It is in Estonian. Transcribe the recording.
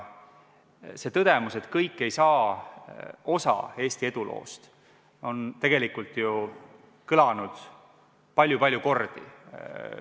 See tõdemus, et kõik ei saa osa Eesti eduloost, on tegelikult kõlanud ju palju-palju kordi.